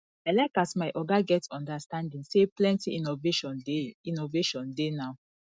i like as my oga get understanding sey plenty innovation dey innovation dey now